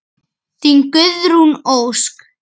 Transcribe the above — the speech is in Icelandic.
Þín, Guðrún Ósk.